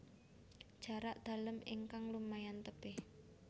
Jarak dalem ingkang lumayan tebih